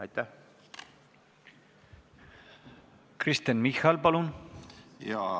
Kristen Michal, palun!